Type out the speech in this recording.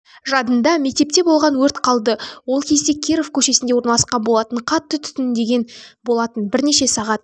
жадында мектепте болған өрт қалды ол кезде киров көшесінде орналасқан болатын қатты түтінденген болатын бірнеше сағат